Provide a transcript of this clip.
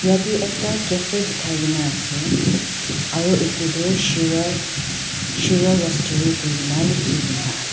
yate ekta cafe dikhaikena ase aru etu tu shiroi shiro roastery kurikena likhikena ase.